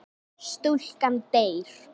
Stúlkan deyr.